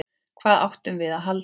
Hvað áttum við að halda?